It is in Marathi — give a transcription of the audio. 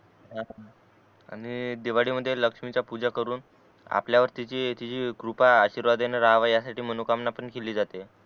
आणि दिवाळी मध्ये लक्ष्मीची पूजा करून आपल्यावरतीची जी कृपा आशीर्वाद येणारवयात आहे ती मनोकामना पण केली जाते